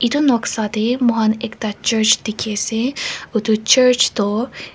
etu noksa te moi khan ekta church dekhi ase etu church toh.